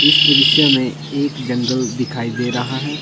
इस दृश्य में एक जंगल दिखाई दे रहा है ।